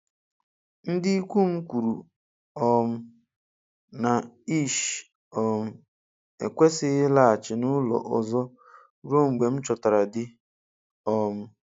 Ndị ikwu m kwuru um na Ish um ekwesịghị ịlaghachi n'ụlọ ọzọ ruo mgbe m chọtara di um